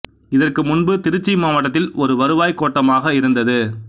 இதற்கு முன்பு திருச்சி மாவட்டத்தில் ஒரு வருவாய் கோட்டமாக இருந்தது